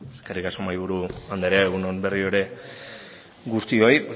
eskerrik asko mahaiburu andrea egun on berriro ere guztioi